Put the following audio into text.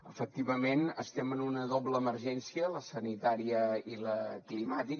efectivament estem en una doble emergència la sanitària i la climàtica